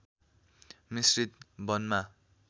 मिश्रित वनमा